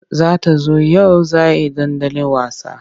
Za ta zo yau za he dandali wasa.